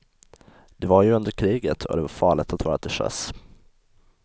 Det var ju under kriget och det var farligt att vara till sjöss.